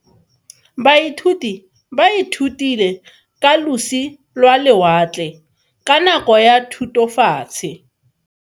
Baithuti ba ithutile ka losi lwa lewatle ka nako ya Thutafatshe.